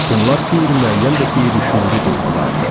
Bunlar qeyri-müəyyən və qeyri-şüuri duyğulardır.